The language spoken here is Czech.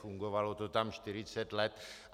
Fungovalo to tam 40 let.